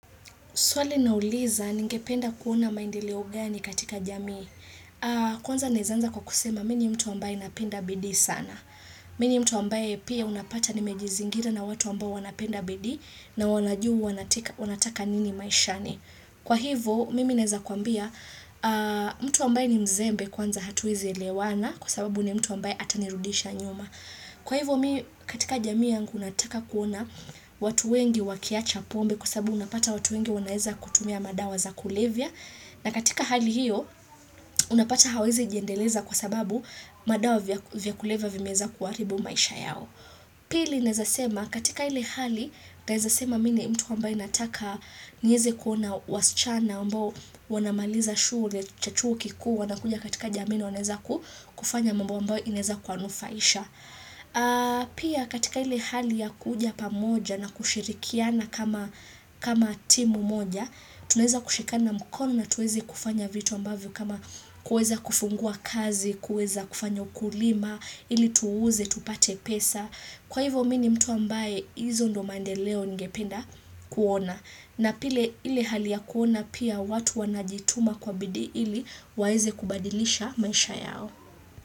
Swali nauliza, ningependa kuona maendeleo gani katika jamii? Kwanza naweza anza kwa kusema, mimi ni mtu ambaye napenda bidii sana. Mimi ni mtu ambaye pia unapata nimejizingira na watu ambaye wanapenda bidii na wanajua wanataka nini maishani. Kwa hivo, mimi ninaweza kukuambia, mtu ambaye ni mzembe kwanza hatuwezi elewana kwa sababu ni mtu ambaye atanirudisha nyuma. Kwa hivo, katika jamii yangu nataka kuona watu wengi wakiwacha pombe kwa sababu unapata watu wengi wanaweza kutumia madawa za kulevya na katika hali hiyo unapata hawawezi jiendeleza kwa sababu madawa vya kuleva vimeweza kuharibu maisha yao. Pili ninaweza sema, katika ile hali ninaweza sema mimi ni mtu ambaye nataka niweze kuona wasichana ambao wanamaliza shule cha chuo kikuu wanakuja katika jamii na wanaweza kufanya mambo ambayo inaweza kuwanufaisha. Pia katika ile hali ya kukuja pamoja na kushirikiana kama timu moja. Tunaweza kushikana mkono na tuweze kufanya vitu ambavyo kama kuweza kufungua kazi, kuweza kufanya ukulima, ili tuuze, tupate pesa. Kwa hivyo mimi ni mtu ambaye, hizo ndio mandeleo ningependa kuona. Na pia ile hali ya kuona pia watu wanajituma kwa bidii ili waweze kubadilisha maisha yao.